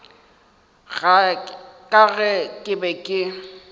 ka ge ke be ke